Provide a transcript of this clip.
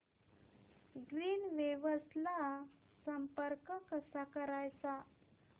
Greenwaves ला संपर्क कसा करायचा